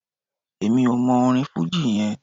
Èmi ò mọ orin fújì yẹn.